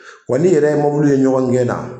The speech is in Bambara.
Wa n'i yɛrɛ ye mɔbiliw ye ɲɔgɔn gɛnna